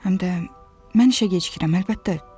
Həm də mən işə gecikirəm, əlbəttə.